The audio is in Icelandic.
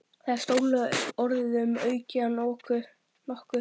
Það er stórlega orðum aukið að nokkuð.